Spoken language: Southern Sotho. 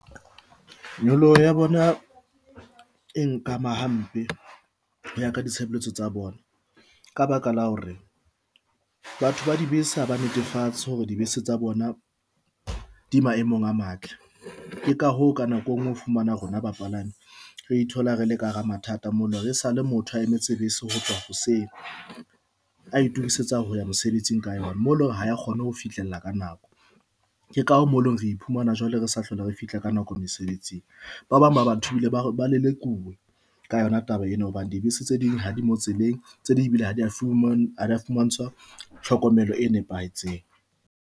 Nyoloho ya bona e nka ama hampe hoya ka ditshebeletso tsa bona, ka baka la hore batho ba dibese ha ba netefatse hore dibese tsa bona di maemong a matle. Ke ka hoo ka nako engwe o fumana rona bapalami re ithola re le ka hara mathata, mo lore sale motho a emetse bese ho tloha hoseng, a itokisetsa ho ya mosebetsing ka yona, mo leng hore ha e kgone ho fihlella ka nako, ke ka mole re iphumana jwale re sa hlole re fihla ka nako mesebetsing. Ba bang ba ba batho ba lelekuwe ka yona taba ena hobane dibese tse ding ha di mo tseleng. Tse ding bile ha di a fumantshwa tlhokomelo e nepahetseng.